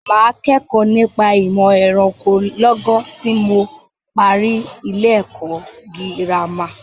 Mà á kẹ́kọ̀ọ́ nípa ìmọ̀ ẹranko lọ́gán tí mo parí ilé-ẹ̀kọ́ girama.